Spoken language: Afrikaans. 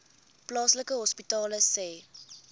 plaaslike hospitale sê